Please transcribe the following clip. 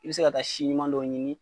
I bi se ka taa si ɲuman dɔ ɲini